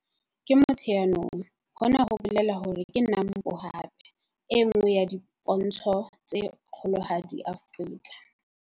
Ke Motsheanong - hona ho bolela hore ke NAMPO hape - e nngwe ya dipontsho tse kgolohadi Afrika.